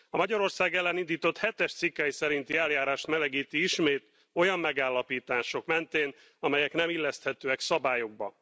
A Magyarország ellen indított hetes cikkely szerinti eljárást melegíti ismét olyan megállapítások mentén, amelyek nem illeszthetőek szabályokba.